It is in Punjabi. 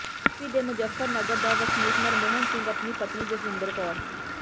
ਯੂ ਪੀ ਦੇ ਮੁਜ਼ੱਫਰਨਗਰ ਦਾ ਵਸਨੀਕ ਨਰਮੋਹਨ ਸਿੰਘ ਆਪਣੀ ਪਤਨੀ ਜਸਵਿੰਦਰ ਕੌਰ